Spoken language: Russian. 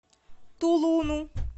тулуну